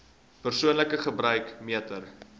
persoonlike gebruik meter